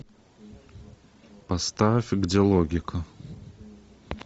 поставь где логика